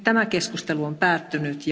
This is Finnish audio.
Keskustelu on päättynyt.